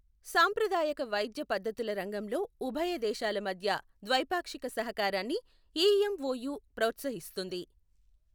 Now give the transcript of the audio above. సాంప్రదాయక వైద్య పద్ధతుల రంగంలో ఉభయ దేశాల మధ్య ద్వైపాక్షిక సహకారాన్ని ఈఎమ్ఒయు ప్రోత్సహిస్తుంది.